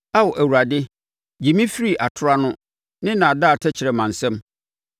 Ao Awurade, gye me firi atorɔ ano ne nnaadaa tɛkrɛma nsam.